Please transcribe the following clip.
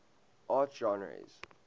art genres